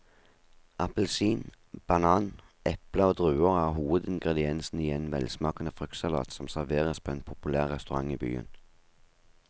Appelsin, banan, eple og druer er hovedingredienser i en velsmakende fruktsalat som serveres på en populær restaurant i byen.